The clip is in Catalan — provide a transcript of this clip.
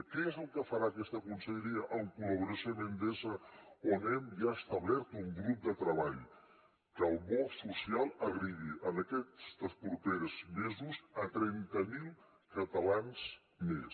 què és el que farà aquesta conselleria en col·laboració amb endesa on hem ja establert un grup de treball que el bo social arribi en aquests propers mesos a trenta mil catalans més